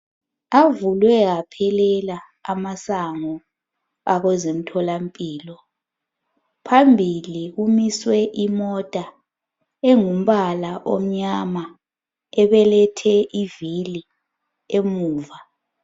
Avulwe aphelela amasango akwezemtholampilo. Phambili kumiswe imota, engumbala omnyama ebelethe ivili emuva.